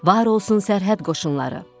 Var olsun sərhəd qoşunları.